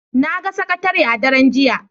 Na ga sakatare a daren jiya